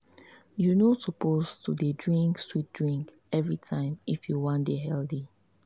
you no suppose to dey drink sweet drink every time if you wan dey healthy.